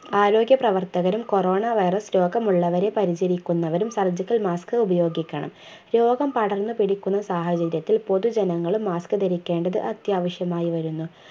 ആരോഗ്യപ്രവർത്തകരും coronavirus രോഗമുള്ളവരെ പരിചരിക്കുന്നവരും surgical mask ഉപയോഗിക്കണം രോഗം പടർന്നു പിടിക്കുന്ന സാഹചര്യത്തിൽ പൊതുജനങ്ങളും mask ധരിക്കേണ്ടതു അത്യാവശ്യമായി വരുന്നു